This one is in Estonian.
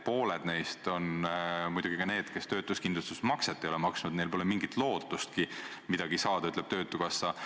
Pooled neist on muidugi need, kes töötuskindlustusmakset ei ole maksnud – neil pole mingit lootustki midagi saada, ütleb töötukassa.